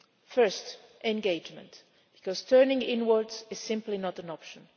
First engagement, because turning inwards is simply not an option.